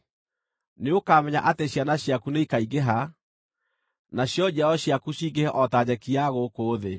Nĩũkamenya atĩ ciana ciaku nĩikaingĩha, nacio njiaro ciaku cingĩhe o ta nyeki ya gũkũ thĩ.